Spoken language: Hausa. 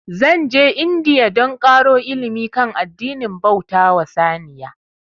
Zan je India dan ƙaro ilimi kan addinin bauta wa saniya